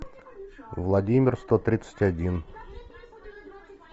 владимир сто тридцать один